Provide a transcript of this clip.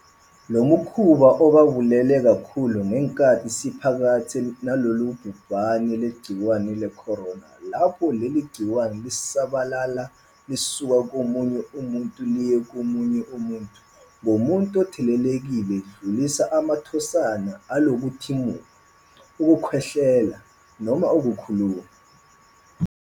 Lo mkhuba ubaluleke kakhulu ngenkathi siphakathi nalolu bhubhane lwegciwane le-corona lapho leli gciwane lisabalala lisuka komunye umuntu liye komunye umuntu ngomuntu othelelekile edlulisa amathonsana alo ngokuthimula, ukukhwehlela noma ukukhuluma.